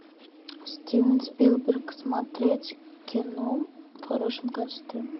стивен спилберг смотреть кино в хорошем качестве